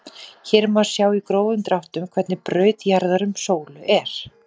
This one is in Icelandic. Hér má sjá í grófum dráttum hvernig braut jarðar um sólu er.